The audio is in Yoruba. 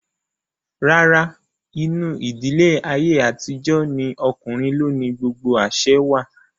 Rárá, inú ìdílé ayé àtijó ní okùnrin ló ni gbogbo àsẹ wà